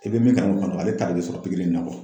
I be min ale ta de be sɔrɔ pikiri in na